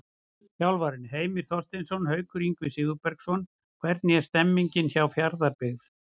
Þjálfarar: Heimir Þorsteinsson og Haukur Ingvar Sigurbergsson Hvernig er stemningin hjá Fjarðabyggð?